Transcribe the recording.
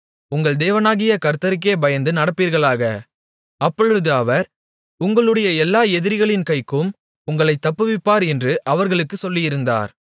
உங்கள் தேவனாகிய கர்த்தருக்கே பயந்து நடப்பீர்களாக அப்பொழுது அவர் உங்களுடைய எல்லா எதிரிகளின் கைக்கும் உங்களைத் தப்புவிப்பார் என்று அவர்களுக்குச் சொல்லியிருந்தார்